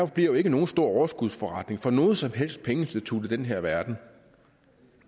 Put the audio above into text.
bliver nogen stor overskudsforretning for noget som helst pengeinstitut i den her verden